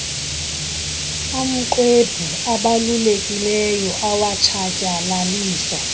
amxwebhu abalulekileyo awatshatyalaliswa